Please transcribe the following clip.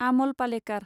Amol Palekar